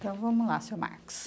Então vamos lá, seu Marcos.